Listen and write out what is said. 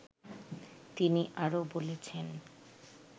তিনি আরও বলেছেন